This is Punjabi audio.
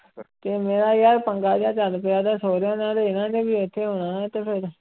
ਤੇ ਮੇਰਾ ਯਾਰ ਪੰਗਾ ਜਿਹਾ ਚੱਲ ਪਿਆ ਦਾ ਸਹੁਰਿਆਂ ਨਾਲ ਇਹਨਾਂ ਨੇ ਵੀ ਉੱਥੇ ਹੋਣਾ ਤੇ ਫਿਰ